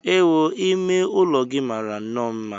Ewu! Ime ụlọ gị mara nnọọ mma.